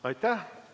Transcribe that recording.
Aitäh!